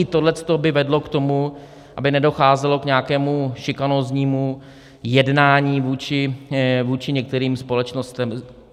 I toto by vedlo k tomu, aby nedocházelo k nějakému šikanóznímu jednání vůči některým společnostem.